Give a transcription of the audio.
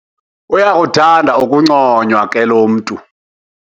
Uyakuthanda ukunconywa ke lo mntu.